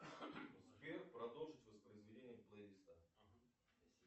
сбер продолжить воспроизведение плейлиста